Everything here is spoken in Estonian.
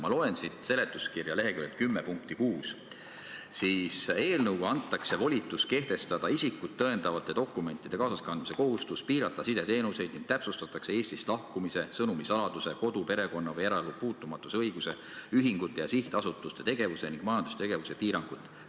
Ma loen seletuskirja leheküljelt 10 punkti 6: "Eelnõuga antakse volitus kehtestada isikut tõendavate dokumentide kaasaskandmise kohustus, piirata sideteenuseid ning täpsustatakse Eestist lahkumise, sõnumisaladuse, kodu, perekonna- või eraelu puutumatuse õiguse, ühingute ja sihtasutuste tegevuse ning majandustegevuse piirangut.